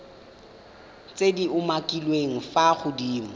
tse di umakiliweng fa godimo